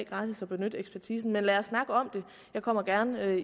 gratis at benytte ekspertisen men lad os snakke om det jeg kommer gerne